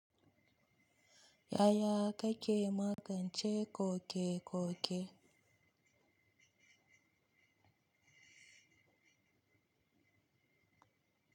Ya ya kake magance koke-koke.